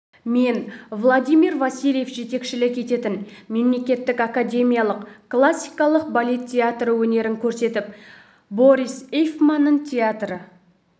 мен владимир василв жетекшілік ететін мемлекеттік академиялық классикалық балет театры өнерін көрсетіп борис эйфманның театры